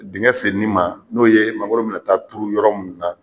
Dengɛ senini ma n'o ye magnoro minɛ t'a turu yɔrɔ min na.